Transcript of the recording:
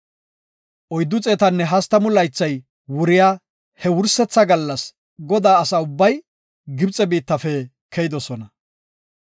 Oyddu xeetanne hastamu laythay wuriya he wursetha gallas Godaa asa ubbay Gibxe biittafe keyidosona.